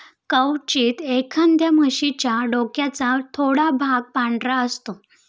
क्वचित, एखाद्या म्हशीच्या डोक्याचा थोडा भाग पांढरा असतो.